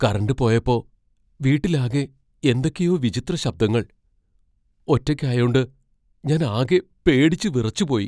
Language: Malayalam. കറന്റ് പോയപ്പോ, വീട്ടിലാകെ എന്തൊക്കെയോ വിചിത്ര ശബ്ദങ്ങൾ. ഒറ്റയ്ക്കായോണ്ട് ഞാൻ ആകെ പേടിച്ച് വിറച്ചുപോയി .